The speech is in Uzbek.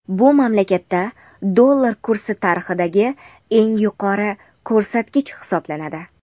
Bu mamlakatda dollar kursi tarixidagi eng yuqori ko‘rsatkich hisoblanadi.